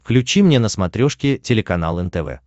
включи мне на смотрешке телеканал нтв